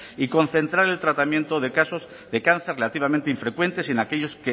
y concentrar el tratamiento de casos de cáncer relativamente infrecuentes y en aquellos